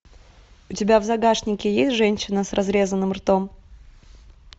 у тебя в загашнике есть женщина с разрезанным ртом